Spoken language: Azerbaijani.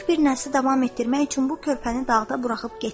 Böyük bir nəsli davam etdirmək üçün bu körpəni dağda buraxıb getdik.